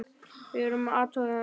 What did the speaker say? Við vorum að athuga það.